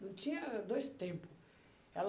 Não tinha dois tempo. Ela